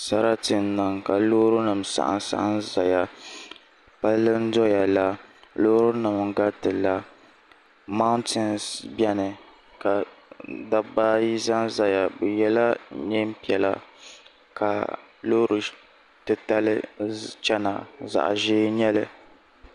Sarati n niŋ ka loori nim saɣam saɣam ʒɛya palli ndoya la loori nim n gariti la mauntins biɛni ka dabba ayi ʒɛnʒɛya bi yɛla neen piɛla ka loori titali chɛna zaɣ ʒiɛ n nyɛli